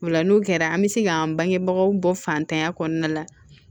O la n'o kɛra an bɛ se k'an bangebagaw bɔ fantanya kɔnɔna la